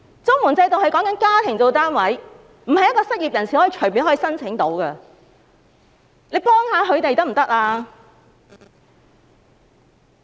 綜援制度是以家庭為單位，並非一名失業人士可以隨便申請的。